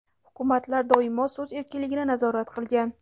Hukumatlar doimo so‘z erkinligini nazorat qilgan.